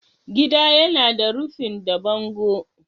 Gida yana da rufin da bango.